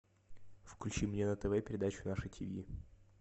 включи мне на тв передачу наше тв